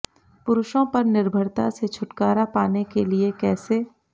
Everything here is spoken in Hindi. पुरुषों पर निर्भरता से छुटकारा पाने के लिए कैसे